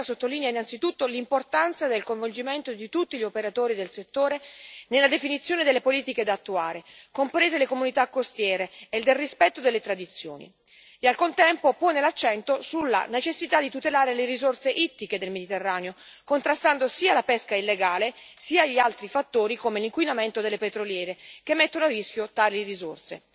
Essa sottolinea innanzitutto l'importanza del coinvolgimento di tutti gli operatori del settore nella definizione delle politiche da attuare, comprese le comunità costiere, e nel rispetto delle tradizioni e, al contempo, pone l'accento sulla necessità di tutelare le risorse ittiche del Mediterraneo, contrastando sia la pesca illegale sia gli altri fattori come l'inquinamento delle petroliere che mettono a rischio tali risorse.